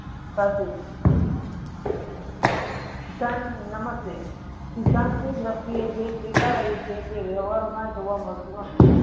સિદ્ધાંત નમસ્તે સિધાંત ના દ્રીશ્તીયે જે સ્વીકારાય છે તે વ્યરહાર મા જોવા મળતું નથી.